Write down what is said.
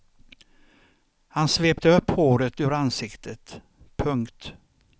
Han svepte upp håret ur ansiktet. punkt